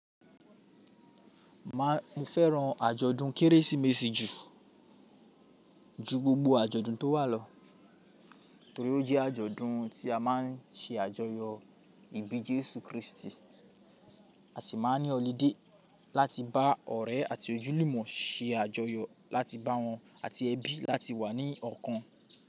Mo fẹ́ran àjọ̀dún Kérésìmesì jù ju gbogbo àjọ̀dún tó wà lọ torí ó jẹ́ àjọ̀dún tí a má ń se àjọyọ̀ ìbí Jésù Kristi. A sì ma ń ní ọlidé láti bá ọ̀rẹ́ àti ojúlùmọ̀ se àjọyọ̀ láti bá wọn àti ẹbí láti wà ní ọ̀kan.